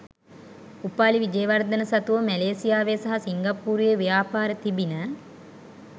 උපාලි විජේවර්ධන සතුව මැ‍ලේසියාවේ සහ සිංගප්පූරුවේ ව්‍යාපාර තිබිණ